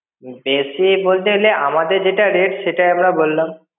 বেশি বলতে হলে আমাদের যেটা rate সেটাই আমরা বললাম.